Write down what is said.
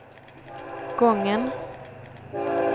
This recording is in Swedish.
gången